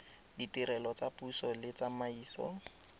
ditirelo tsa puso le tsamaiso